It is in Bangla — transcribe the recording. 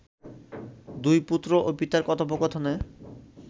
দুই পুত্র ও পিতার কথোপকথনে